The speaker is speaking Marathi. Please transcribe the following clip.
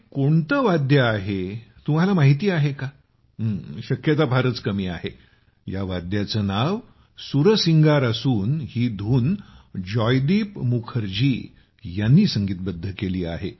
हे कोणते वाद्य आहे तुम्हाला माहीत आहे का शक्यता फारच कमी आहे या वाद्याचे नाव सुरसिंगार असून ही धून जयदीप मुखर्जी यांनी संगीतबद्ध केली आहे